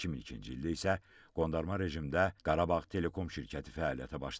2002-ci ildə isə qondarma rejimdə Qarabağ Telekom şirkəti fəaliyyətə başlayıb.